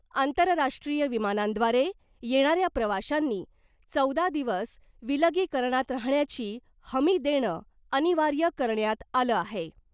आंतरराष्ट्रीय विमानांद्वारे येणाऱ्या प्रवाशांनी चौदा दिवस विलगीकरणात राहण्याची हमी देणं अनिवार्य करण्यात आलं आहे .